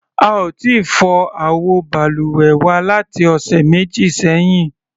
A ò tíì fọ àwọ balùwẹ̀ wa láti ọ̀sẹ̀ méjì sẹ́yìn.